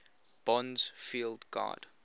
bond's field guide